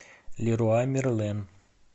леруа мерлен